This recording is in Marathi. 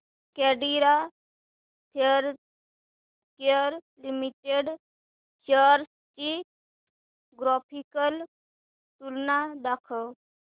कॅडीला हेल्थकेयर लिमिटेड शेअर्स ची ग्राफिकल तुलना दाखव